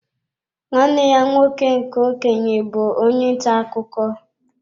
Nwanne ya nwoke nke okenye bụ onye ntà akụkọ.